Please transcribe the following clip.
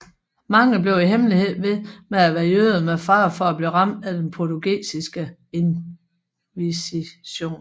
Mange blev i hemmelighed ved med at være jøder med fare for at blive ramt af den portugisiske inkvisition